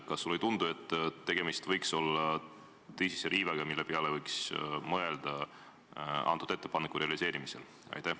Kas sulle ei tundu, et tegemist võiks olla tõsise riivega, mille peale võiks selle ettepaneku realiseerimisel mõelda?